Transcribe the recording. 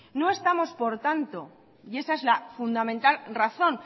no estamos por tanto y esa es la fundamental razón